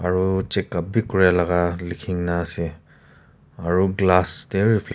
aru check b kori laga likhina ase aru glass te reflect--